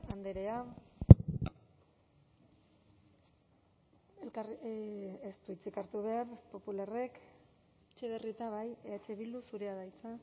andrea ez du hitzik hartu behar popularrek etxebarrieta bai eh bildu zurea da hitza